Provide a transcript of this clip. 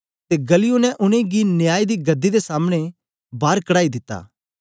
ते गल्लियो ने उनेंगी न्याय दी गदी दे सामने दा बार कड़ाई दिता